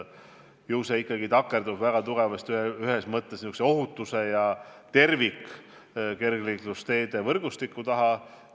Ju see ikkagi takerdub ühelt poolt väga tugevasti ohutuse ja tervikliku kergliiklusteede võrgustiku puudumise taha.